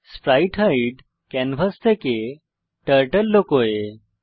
sprite hide canvas থেকে turtle লুকোয়